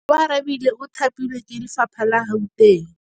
Oarabile o thapilwe ke lephata la Gauteng.